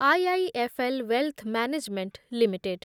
IIFL wealth management limited